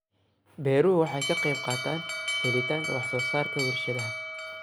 Beeruhu waxay ka qayb qaataan helitaanka wax soo saarka warshadaha.